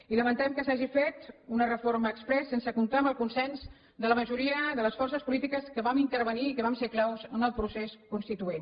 i lamentem que s’hagi fet una reforma exprés sense comptar amb el consens de la majoria de les forces polítiques que vam intervenir i que vam ser claus en el procés constituent